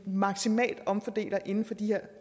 maksimalt omfordeler inden for de her